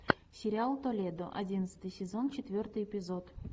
сериал толедо одиннадцатый сезон четвертый эпизод